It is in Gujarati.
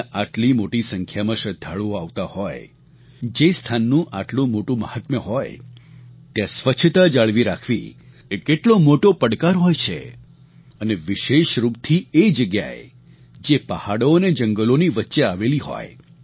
જ્યાં આટલી મોટી સંખ્યામાં શ્રદ્ધાળુઓ આવતા હોય જે સ્થાનનું આટલું મોટું મહાત્મ્ય હોય ત્યાં સ્વચ્છતા જાળવી રાખવી એ કેટલો મોટો પડકાર હોય છે અને વિશેષરૂપથી એ જગ્યાએ જે પહાડો અને જંગલોની વચ્ચે આવેલી હોય